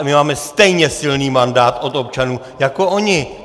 A my máme stejně silný mandát od občanů jako oni.